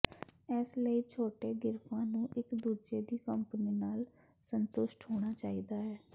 ਇਸ ਲਈ ਛੋਟੇ ਗਿਰਫਾਂ ਨੂੰ ਇੱਕ ਦੂਜੇ ਦੀ ਕੰਪਨੀ ਨਾਲ ਸੰਤੁਸ਼ਟ ਹੋਣਾ ਚਾਹੀਦਾ ਹੈ